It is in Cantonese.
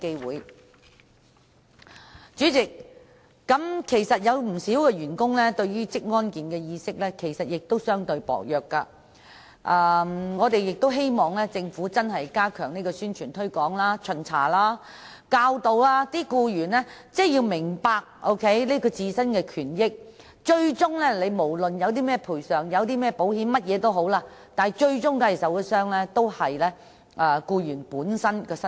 代理主席，鑒於不少員工的職安健意識較薄弱，因此我們亦希望政府認真加強宣傳推廣、巡查和教導僱員認識自身的權益，讓他們明白到不管有何賠償或保險保障，最終受到傷害的，也是僱員的身體。